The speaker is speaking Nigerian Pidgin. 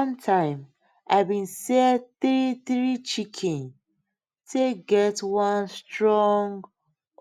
one time i been sell three three chicken take get one strong